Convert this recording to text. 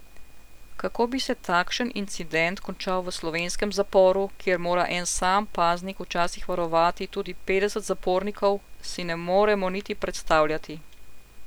Kako bi se takšen incident končal v slovenskem zaporu, kjer mora en sam paznik včasih varovati tudi petdeset zapornikov, si ne moremo niti predstavljati.